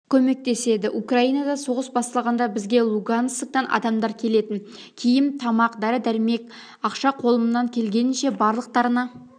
көмектеседі украинада соғыс басталғанда бізге лугансктан адамдар келетін киім тамақ дәрі-дәрімек ақша қолымнан келгенінше барлықтарына